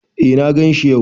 Eh na ganshi yau.